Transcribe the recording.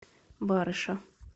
барыша